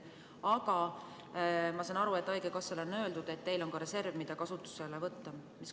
Aga ma saan aru, et haigekassale on öeldud, et neil on ka reserv, mida kasutusele võtta.